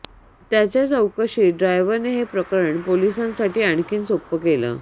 त्याच्या चौकशीत ड्रायव्हरनं हे प्रकरण पोलिसांसाठी आणखी सोप्पं केलं